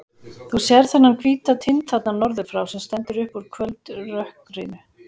Þú sérð þennan hvíta tind þarna norður frá, sem stendur upp úr kvöldrökkrinu.